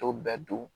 To bɛɛ dun